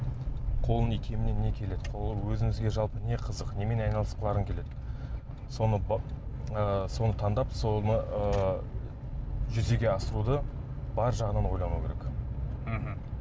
қолының икеміне не келеді қолы өзіңізге жалпы не қызық немен айналысқыларың келеді соны ыыы соны таңдап соны ыыы жүзеге асыруды бар жағынан ойлану керек мхм